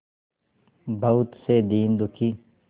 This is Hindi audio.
बहुत से दीन दुखी